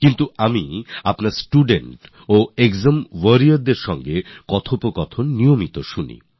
কিন্তু আমি স্টুডেন্টস এবং এক্সাম ওয়ারিয়র্স দের সঙ্গে আপনার বার্তালাপ নিয়মিত শুনি